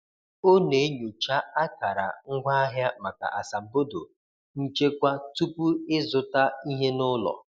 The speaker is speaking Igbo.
O na-enyocha akara ngwaahịa maka asambodo nchekwa tupu ịzụta ihe n’ụlọ.